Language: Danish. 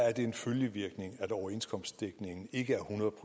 er det en følgevirkning at overenskomstdækningen ikke er hundrede